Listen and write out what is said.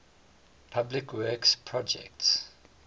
public works projects